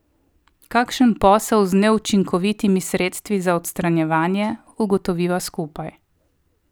Kakšen posel z neučinkovitimi sredstvi za odstranjevanje, ugotoviva skupaj.